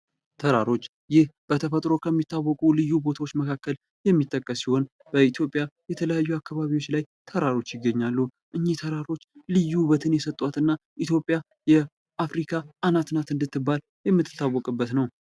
ተራሮች ይህ በተፈጥሮ ከሚታወቁ ልዩ ቦታዎች መካከል የሚጠቀስ ሲሆን ፤ ይህ በኢትዮጵያ በተለያዩ አካባቢዎች ላይ ተራሮች ይገኛሉ። ተራሮች ልዩ ውበትን የሰጧትና ኢትዮጵያ በአፍሪካ አናት ናት እንድትባል የምትታወቅበት ነው።